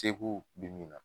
be min na